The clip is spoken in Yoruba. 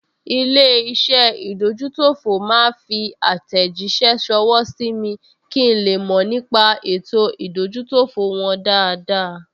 Ilé-iṣẹ́ ìdójútòfò máa fi àtẹ̀jíṣẹ́ ṣọwọ́ sí mi kí n le mọ̀ nípa ètò ìdójútòfò wọn dáadáa